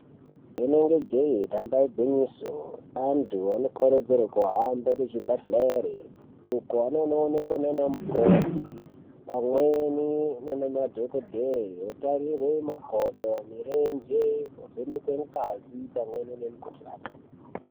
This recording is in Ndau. Rinenge jee damba igwinyiso antu anokurudzirwe kuhambe kuzvibhedhleri uko anonoonekwa naana mukoti pamweni ngemadhokodheye. Otarirwe makodo, mirenje, ovhenekwe ngazi pamweni nemikuhlani.